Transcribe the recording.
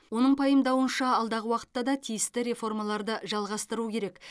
оның пайымдауынша алдағы уақытта да тиісті реформаларды жалғастыру керек